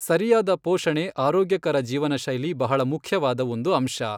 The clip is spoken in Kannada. ಸರಿಯಾದ ಪೋಷಣೆ ಆರೋಗ್ಯಕರ ಜೀವನಶೈಲಿ ಬಹಳ ಮುಖ್ಯವಾದ ಒಂದು ಅಂಶ.